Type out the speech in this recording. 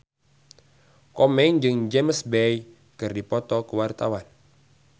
Komeng jeung James Bay keur dipoto ku wartawan